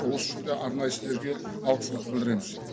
осы үшін де арнайы сіздерге алғысымызды білдіреміз